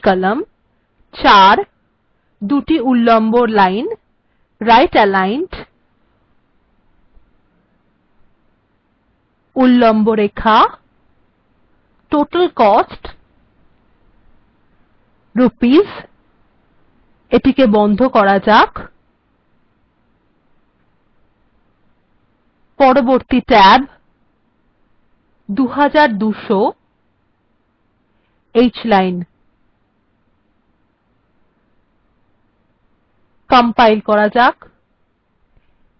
compile করা যাক